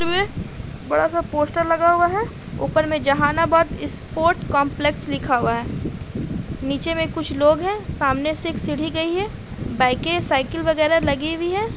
बड़ा-सा पोस्टर लगा हुआ है ऊपर में जहानाबाद स्पोर्ट्स कॉम्प्लेक्स लिखा हुआ है| नीचे में कुछ लोग हैं सामने से एक सीढ़ी गयी हुई है बाइके साइकिल वगेरह लगी हुई है।